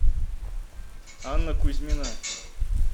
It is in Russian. анна кузьмина